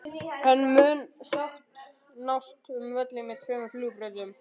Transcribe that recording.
En mun sátt nást um völl með tveimur flugbrautum?